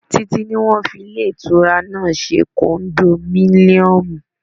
Títí ní wọ́n fi ilé ìtura náà ṣe kondominiomu.